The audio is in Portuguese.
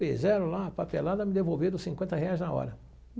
Fizeram lá, a papelada, me devolveram cinquenta reais na hora.